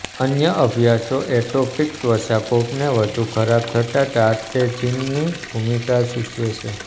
અન્ય અભ્યાસો એટોપિક ત્વચાકોપને વધુ ખરાબ થતાં ટારટૅઝીનની ભૂમિકા સૂચવે છે